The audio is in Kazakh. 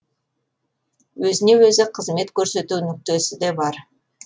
өзіне өзі қызмет көрсету нүктесі де бар